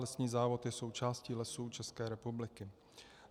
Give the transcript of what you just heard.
Lesní závod je součástí Lesů České republiky.